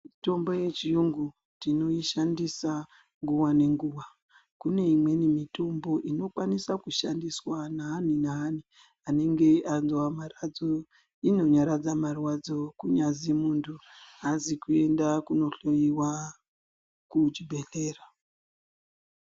Mitombo yechiyungu tinoishandisa nguwa nenguwa .Kune imweni mitombo inokwanisa kushandiswa naani naani anenge anzwa maradzo , inonyaradza marwadzo kunyazi muntu aazi kuenda kunohloyiwa kuchibhedhlera .